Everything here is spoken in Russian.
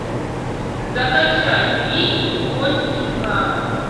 закачай фильм боль и слава